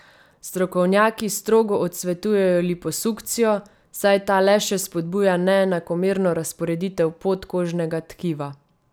Strokovnjaki strogo odsvetujejo liposukcijo, saj ta le še spodbuja neenakomerno razporeditev podkožnega tkiva.